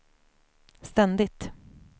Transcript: ständigt